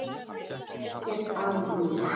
Mér fannst ekkert að mér.